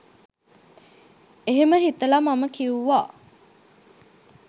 එහෙම හිතලා මම කිව්වා